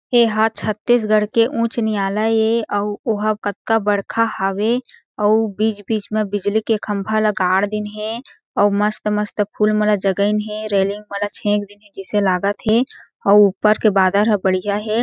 एहा छत्तीसगढ़ के उच्च न्यायलय ए अउ ओ ह कतका बड़खा हावे अउ बीच-बीच में बिजली के खम्भा मन ल गाड़ दीन हे अउ मस्त-मस्त फूल मन ल जगाइन हे रेलिंग मन ल छेंक दीन हे जइसे लागत हें अऊ ऊपर के बादर ह बढ़ियाँ हें।